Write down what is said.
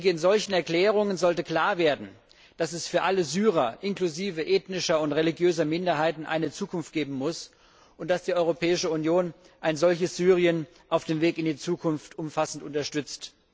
In solchen Erklärungen sollte klar werden, dass es für alle Syrer, inklusive ethnischer und religiöser Minderheiten eine Zukunft geben muss, und dass die Europäische Union ein solches Syrien auf dem Weg in die Zukunft umfassend unterstützt.